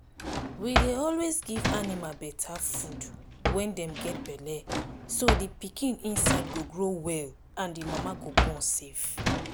we dey always give animal better food when them get belle so the pikin inside go grow well and the mama go born safe.